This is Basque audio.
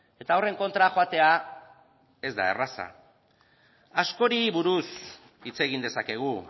eta horren kontra joatea ez da erraza askori buru hitz egin dezakegu